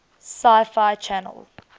sci fi channel